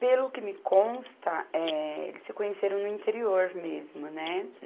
Pelo que me consta, eh, eles se conheceram no interior mesmo, né?